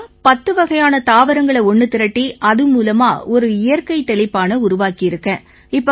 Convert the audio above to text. ஐயா பத்துவகையான தாவரங்களை ஒண்ணு திரட்டி அது மூலமா ஒரு இயற்கை தெளிப்பானை உருவாக்கியிருக்கேன்